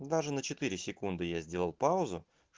даже на секунды я сделал паузу